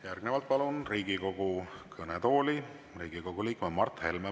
Järgnevalt palun Riigikogu kõnetooli Riigikogu liikme Mart Helme.